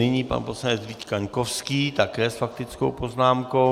Nyní pan poslanec Vít Kaňkovský, také s faktickou poznámkou.